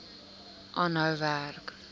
aanhou werk